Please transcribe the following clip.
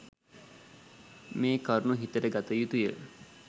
මේ කරුණු හිතට ගත යුතුය.